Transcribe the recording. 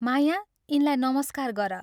माया, यिनलाई नमस्कार गर।